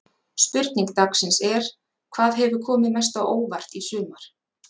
Spurning dagsins er: Hvað hefur komið mest á óvart í sumar?